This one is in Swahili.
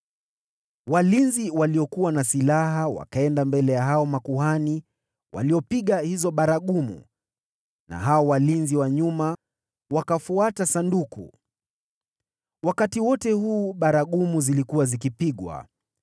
Walinzi waliokuwa na silaha wakaenda mbele ya hao makuhani waliopiga hizo baragumu na hao walinzi wa nyuma wakafuata Sanduku. Wakati wote huu baragumu zilikuwa zikipigwa.